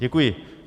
Děkuji.